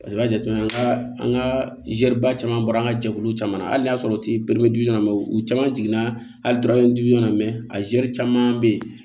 Paseke i b'a jateminɛ an ka an ka zɛri ba caman bɔra an ka jɛkulu caman na a n'a sɔrɔ u caman jiginna hali dɔrɔmɛ na a caman bɛ yen